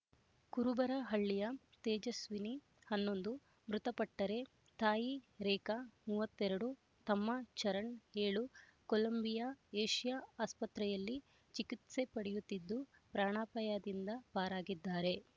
ಕುರುಬರ ಹಳ್ಳಿಯ ತೇಜಸ್ವಿನಿ ಹನ್ನೊಂದು ಮೃತಪಟ್ಟರೆ ತಾಯಿ ರೇಖಾ ಮೂವತ್ತ್ ಎರಡು ತಮ್ಮ ಚರಣ್ ಏಳು ಕೊಲಂಬಿಯಾ ಏಷ್ಯ ಆಸ್ಪತ್ರೆಯಲ್ಲಿ ಚಿಕಿತ್ಸೆ ಪಡೆಯುತ್ತಿದ್ದು ಪ್ರಾಣಾಪಾಯದಿಂದ ಪಾರಾಗಿದ್ದಾರೆ